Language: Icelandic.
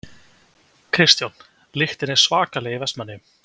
Kristján: Lyktin er svakaleg í Vestmannaeyjum?